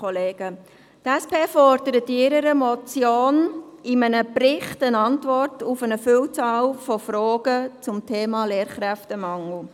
Die SP fordert in ihrer Motion einen Bericht, eine Antwort auf eine Vielzahl von Fragen zum Thema Lehrkräftemangel.